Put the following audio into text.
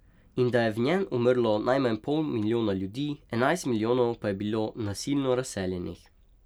In da je v njen umrlo najmanj pol milijona ljudi, enajst milijonov pa je bilo nasilno razseljenih.